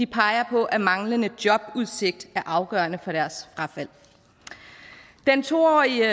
peger på at manglende jobudsigt er afgørende for deres frafald den to årige